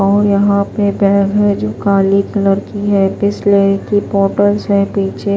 और यहां पे बैग हैजो काली कलर की हैबिसलेरी की बॉटल्स है पीछे --